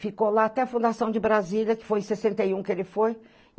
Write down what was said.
Ficou lá até a fundação de Brasília, que foi em sessenta e um que ele foi.